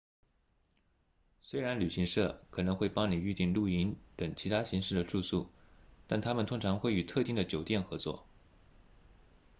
虽然旅行社可能会帮你预订露营等其他形式的住宿但他们通常会与特定的酒店合作